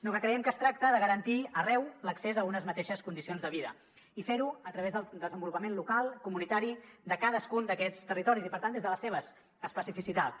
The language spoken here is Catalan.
sinó que creiem que es tracta de garantir arreu l’accés a unes mateixes condicions de vida i fer ho a través del desenvolupament local comunitari de cadascun d’aquests territoris i per tant des de les seves especificitats